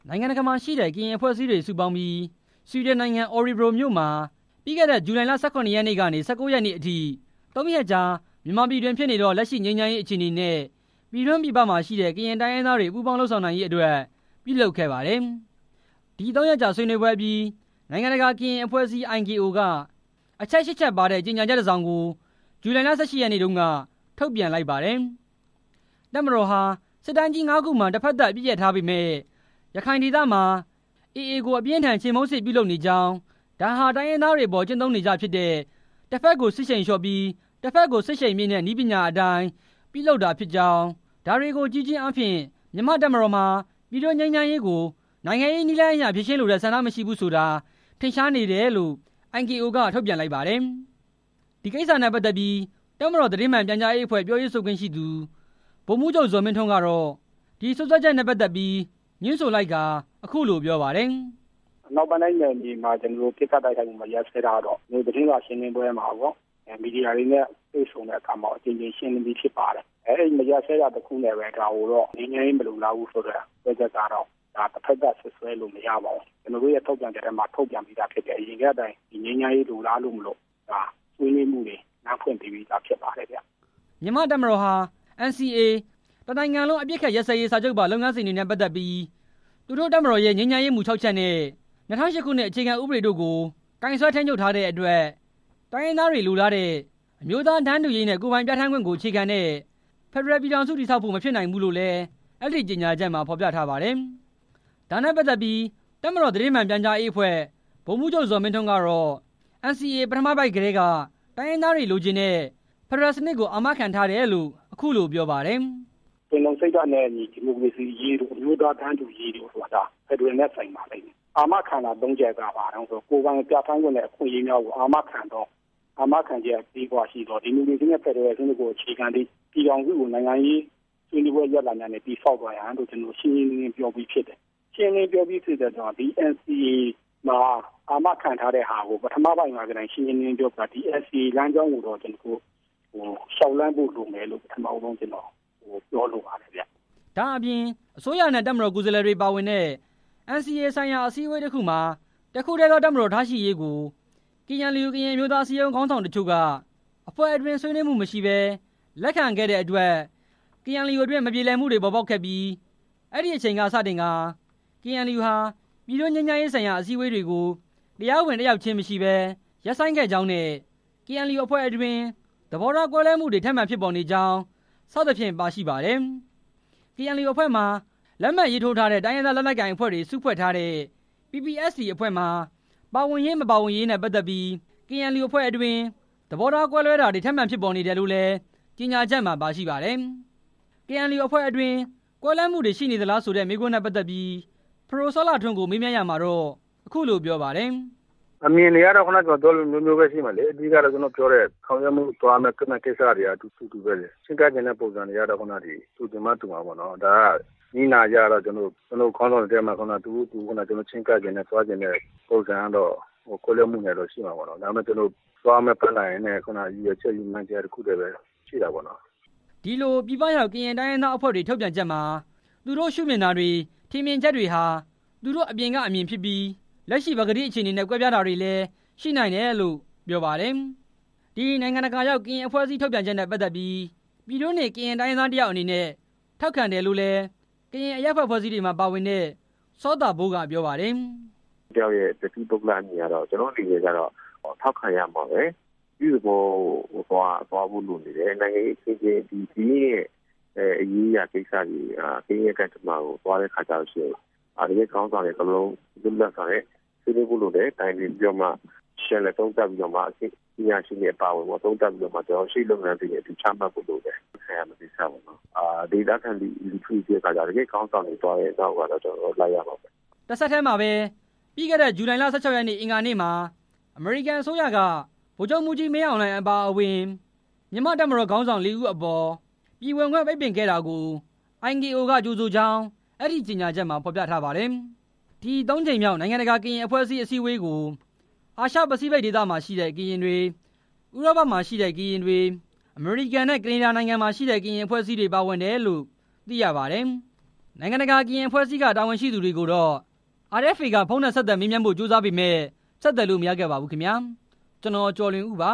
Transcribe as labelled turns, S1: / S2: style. S1: နိုင်ငံတကာမှာရှိတဲ့ ကရင်အဖွဲ့အစည်းတွေ စုပေါင်းပြီး ဆွီဒင်နိုင်ငံ Orebro မြို့မှာ ပြီးခဲတဲ့ ဇူလိုင်လ ၁၇ ရက်နေ့ကနေ ၁၉ ရက်နေ့အထိ သုံးရက်ကြာ မြန်မာပြည်တွင်ဖြစ်နေတဲ့ လက်ရှိငြိမ်းချမ်းရေး အခြေအနေနဲ့ ပြည်တွင်း၊ ပြည်ပမှာရှိတဲ့ ကရင်တိုင်းရင်းသားတွေ ပူးပေါင်းလုပ်ဆောင်နိုင်ရေးအတွက် ပြုလုပ်ခဲ့ပါတယ်။ ဒီသုံးရက်ကြာ ဆွေးနွေးပြီး နိုင်ငံတကာကရင်အဖွဲ့အစည်း က အချက် ချက်ပါတဲ့ ကြေညာချက်တစ်စောင်ကို ဇူလိုင်လ ၁၉ ရက်နေ့က ထုတ်ပြန်လိုက်ပါတယ်။ တပ်မတော်ဟာ စစ်တိုင်းကြီး ငါးခုမှာ တဖက်သတ်အပစ်ရပ်ထားပေမယ့် ရခိုင်ဒေသမှာ AA ကို အပြင်းအထန် ချေမှုန်းစစ်ဖြစ်လုပ်နေကြောင်း၊ ဒါဟာ တိုင်းရင်းသားတွေအပေါ် ကျင့်သုံးနေကြဖြစ်တဲ့ တဖက်ကို စစ်ရှိန်လျှော့ပြီး တဖက်ကိုစစ်ရှိန်မြှင့်တဲ့ နည်းပညာအတိုင်း ပြုလုပ်တာဖြစ်ကြောင်း၊ ဒါတွေကိုကြည့်ခြင်းအားဖြင့် မြန်မာ့တပ်မတော် မှာ ပြည်တွင်းငြိမ်းချမ်းရေးကို နိုင်ငံရေးနည်းလမ်းအရ ဖြေရှင်းလိုတဲ့ ဆန္ဒမရှိဘူးဆိုတာ ထင်ရှားနေပါတယ်လို့ IKO ထုတ်ပြန်လိုက်ပါတယ်။ ဒီကိစ္စနဲ့ပတ်သက်ပြီး တပ်မတော် သတင်းမှန်ပြန်ကြားရေးအဖွဲ့ ပြောရေးဆိုခွင့်ရှိသူ ဗိုလ်မှူးကြီး ဇော်မင်းထွန်းကတော့ ဒီစွပ်စွဲချက်နဲ့ ပတ်သက်ပြီး ငြင်းဆိုလိုက်ပြီး အခုလို ပြောပါတယ်။
S2: “ အနောက်ပိုင်းတိုင်းနယ်မြေမှာ ပစ်ခတ်တိုက်ခိုက်မှု မရပ်စဲတာကတော့ သတင်းစာရှင်းလင်းပွဲမှာရော သတင်း မီဒီယာတွေမှာရော အကြိမ်ကြိမ်ရှင်းပြပြီးဖြစ်ပါတယ်၊ အဲဒီ မရပ်စဲတာတစ်ခုကိုပဲ ဒါကိုတော့ ငြိမ်းချမ်းရေး မလိုလားဘူးဆိုတဲ့ စွပ်စွဲချက်ကတော့ တဖက်သတ်စွပ်စွဲလို့မရပါဘူး၊ ကျနော်တို့ ထုတ်ပြန်ချက်မှာ ထုတ်ပြန် ပြီးဖြစ်တယ်၊ အရင်ကတည်းက ငြိမ်းချမ်းရေးလိုလားလို့မို့လို့ ဆွေးနွေးမှုတွေ လမ်းဖွင့်ပေးပြီးသားဖြစ်ပါတယ်”
S1: မြန်မာ့ တပ်မတော်ဟာ NCA တစ်နိုင်ငံလုံး အပစ်အခတ်ရပ်စဲရေး စာချုပ်ပါ လုပ်ငန်းစဉ်တွေနဲ့ ပတ်သက်ပြီး သူတို့တပ်မတော်ရဲ့ ငြိမ်းချမ်းရေးမူ ခြောက်ချက်နဲ့ ၂ဝဝ၈ ခုနှစ် အခြေခံဥပဒေတို့ကို ကိုင်စွဲထိန်းချုပ်ထားတဲ့အတွက် တိုင်းရင်းသားတွေလိုလားတဲ့ အမျိုးသား တန်းတူရေးနဲ့ ကိုယ်ပိုင်ပြဌာန်းခွင့်ကို အခြေခံတဲ့ ဖယ်ဒရယ်ပြည်ထောင်စု တည်ဆောက်ဖို့မဖြစ်နိုင်ဘူးလို့လည်း အဲဒီ ကြေညာချက်မှာ ဖော်ပြထားပါတယ်။ ဒါနဲ့ပတ်သက်ပြီးလည်း တပ်မတော် သတင်းမှန်ပြန်ကြားရေးအဖွဲ့က ဗိုလ်မှူးချုပ် ဇော်မင်းထွန်းက NCA ပထမပိုဒ် မှာကတည်းက တိုင်းရင်းသားတွေလိုချင်တဲ့ ဖက်ဒရယ်စနစ်ကို အာမခံထားတယ်လို့ အခုလို ပြောပါတယ်။
S2: “ပင်လုံစိတ်ဓာတ်နဲ့အညီ ဒီမိုကရေစီအရေးတို့၊ အမျိုးသားတန်းတူရေးတို့ဆိုတာ ဖက်ဒရယ်နဲ့ဆိုင်ပါလိမ့်မယ်၊ အာမခံတာ သုံးချက်က ဘာတုန်းဆိုတော့ ကိုယ်ပိုင်ပြဌာန်းခွင့်နဲ့ အခွင့်ရေးများကို အာမခံသော အာမခံချက် အပြည့်အဝရှိသော ဒီမိုကရေစီနဲ့ ဖက်ဒရယ်စနစ်ကို အခြေခံသည် ပြည်ထောင်စုကို နိုင်ငံရေးဆွေးနွေးပွဲ ရလဒ်များနဲ့ တည်ဆောက်သွားရန်ဆိုတဲ့ ကျနော်တို့ ရှင်းရှင်းလင်းလင်းပြောပြီးဖြစ်တယ်၊ ဒီ NCA မှာ အာမခံတဲ့ပထမပိုဒ်မှာကတည်းက ရှင်းရှင်းလင်းလင်းပြောပြီးသား၊ ဒီ NCA လမ်းကြောင်းကိုတော့ လျှောက်လှမ်းဖို့ ပထမဆုံးပြောလိုပါတယ်”
S1: ဒါ့အပြင် အစိုးရနဲ့ တပ်မတော်ကိုယ်စားလှယ်တွေ ပါဝင်တဲ့ NCA ဆိုင်ရာ အစည်းအဝေးတစ်ခုမှာ တစ်ခုတည်းသော တပ်မတော်ထားရှိရေးကို KNU ကရင်အမျိုးသား အစည်းအရုံး ခေါင်းဆောင်တချို့က အဖွဲ့အတွင်းဆွေးနွေးမှု မရှိဘဲ လက်ခံခဲ့တဲ့အတွက် KNU အတွင်း မပြေမလည်မှုတွေ ပေါ်ပေါက်ခဲ့ပြီးအဲဒီအချိန်က စတင်ကာ KNU ဟာ ပြည်တွင်းငြိမ်းချမ်းရေးဆိုင်ရာ အစည်းအဝေးတွေကို တရားဝင် တက်ရောက်ခြင်း မရှိဘဲ ရပ်ဆိုင်းခဲ့ကြောင်းနဲ့ KNU အဖွဲ့အတွင်း သဘောထားကွဲလွဲမှုတွေ ထပ်မံဖြစ်ပေါ်နေကြောင်း စသဖြင့်ပါရှိပါတယ်။ KNU အဖွဲ့မှာ လက်မှတ်ရေးထိုးထားတဲ့ တိုင်းရင်းသား လက်နက်ကိုင်အဖွဲ့တွေ စုဖွဲ့ထားတဲ့ PPST အဖွဲ့မှာ ပါဝင်ရေး၊ မပါဝင်ရေးနဲ့ ပတ်သက်ပြီး KNU အဖွဲ့အတွင်း သဘောကွဲလွဲတာတွေ ထပ်မံဖြစ်ပေါ်နေတယ်လို့လည်း ကြေညာချက်မှာပါရှိပါတယ်။ KNU အဖွဲ့အတွင်း ကွဲလွဲမှုတွေရှိနေသလားဆိုတဲ့ မေးခွန်းနဲ့ပတ်သက်ပြီး ပဒိုစောလှထွန်းကို မေးမြန်းရာမှာတော့ အခုလို ပြောပါတယ်။
S2: “အမြင်တွေကတော့ ခုနက ကျနော်ပြောသလို အမျိုးမျိုးရှိမယ်လေ၊ အဓိကတော့ ခုနက ကျနော်ပြောတဲ့ ဆောင်ရွက်မှုသွားမယ့်ကိစ္စတွေဟာ အတူတူပဲလေ၊ ချည်းကပ်ချင်တဲ့ ပုံစံတွေကတော့ တူချင်မှတူမှာပေါ့နော်၊ နည်းနာအရတော့ ကျနော် ခေါင်းဆောင်တွေထဲမှာ သူတို့ချည်းကပ်ချင်တဲ့ သွားချင်တဲ့ ပုံစံကတော့ ကွဲလွဲမှုတွေ ရှိမှာပေါ့ ဒါပေမဲ့ သွားမယ့်ပလန်နဲ့ ရည်ရွယ်ချက်၊ ရည်မှန်းချက်ကတော့ တစ်ခုတည်းပဲရှိတာပေါ့နော်”
S1: ဒီလို ပြည်ပရောက် ကရင်တိုင်းရင်းသားအဖွဲ့တွေ ထုတ်ပြန်ချက်မှာ သူတို့ရှုမြင်တာတွေ၊ ထင်မြင်ချက်တွေဟာ သူတို့အပြင်ကအမြင်ဖြစ်ပြီး လက်ရှိပကတိအခြေအနေနဲ့ ကွဲပြားတာတွေလည်း ရှိနိုင်တယ်လု့ိ ပြောပါတယ်။ ဒီနိုင်ငံတကာရောက် ကရင်အဖွဲ့အစည်း ထုတ်ပြန်ချက်နဲ့ပတ်သက်ပြီး ပြည်တွင်းနေ ကရင်တိုင်းရင်းသားတစ်ယောက် အနေနဲ့ ထောက်ခံတယ်လို့လည်း ကရင်အရက်ဖက်အဖွဲ့တွေမှာ ပါဝင်တဲ့ စောသာဘိုးက ပြောပါတယ်။
S2: “ကရင်တယောက်အနေနဲ့ ကျနော်အနေနဲ့ကတော့ ထောက်ခံရမှာပဲ၊ အပြုသဘောသွားဖို့လိုနေတယ် နိုင်ငံရေးအခင်းအကျင်း ကရင်အရေးအရာတွေကိစ္စတွေဟာ ကရင်ကံကြမ္မာသွားတဲ့အခါကြလို့ရှိရင် ခေါင်းဆောင်တွေ လွတ်လပ်စွာနဲ့ ဆွေးနွေးဖို့လိုတယ်၊ တိုင်ပင်ပြီးတော့မှ ပြန်လည်သုံးသပ်ပြီးတော့မှ ရှေလုပ်ငန်းတွေ ချမှတ်ဖို့လိုတယ်၊ ဒေသခံလူထုအနေနဲ့ကတော့ တကယ်ခေါင်းဆောင်တွေ သွားတဲ့နောက်ကို လိုက်ရမှာပဲ”
S1: တဆက်တည်းမှာပဲ ပြီးခဲ့တဲ့ ဇူလိုင်လ ၁၆ ရက် အင်္ဂါနေ့မှာ အမေရိကန် အစိုးရက ဗိုလ်ချုပ်မှူးကြီး မင်းအောင်လှိုင် အပါအဝင် မြန်မာ့တပ်မတော် ခေါင်းဆောင် လေးဦးအပေါ် ပြည်ဝင်ခွင့် ပိတ်ပင်ခဲ့တာကို IKO က ကြိုဆိုကြောင်း အဲဒီကြေညာချက်မှာ ဖော်ပြထားပါတယ်။ ဒီသုံးကြိမ်မြောက် နိုင်ငံတကာ ကရင်အဖွဲ့အစည်း အစည်းအဝေးကို အာရှပစိဖိတ်ဒေသရှိ ကရင်တွေ၊ ဥရောပမှာရှိတဲ့ ကရင်တွေ၊ အမေရိကန်နဲ့ ကနေဒါနိုင်ငံမှာရှိတဲ့ ကရင်အဖွဲ့အစည်းတွေ ပါဝင်တယ်လို့ သိရပါတယ်။ နိုင်ငံတကာ ကရင်အဖွဲ့အစည်းက တာဝန်ရှိသူတွေကိုတော့RFA က ဖုန်းနဲ့ဆက်သွယ်မေးမြန်းဖို့ ကြိုးစားပေမယ့် ဆက်သွယ်လို့ မရခဲ့ပါဘူး။ ( RFA သတင်းထောက် ကိုကျော်လွင်ဦး ပ